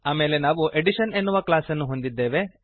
ಆಮೇಲೆ ನಾವು ಅಡಿಷನ್ ಎನ್ನುವ ಕ್ಲಾಸ್ ಅನ್ನು ಹೊಂದಿದ್ದೇವೆ